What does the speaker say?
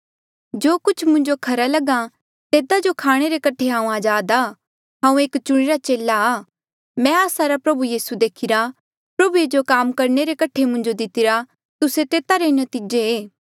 जो कुछ मुंजो खरा लगहा तेता जो खाणे रे कठे हांऊँ अजाद आ हांऊँ एक चुणिरा चेला आ मैं आस्सा रा प्रभु यीसू देखीरा प्रभुए जो काम करणे रे कठे मुंजो दितिरा तुस्से तेता रा नतीजा